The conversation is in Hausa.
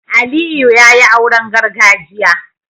Aliyu yayi auren gargajiya